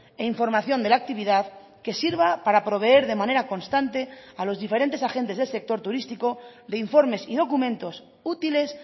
e información de la actividad que sirva para proveer de manera constante a los diferentes agentes del sector turístico de informes y documentos útiles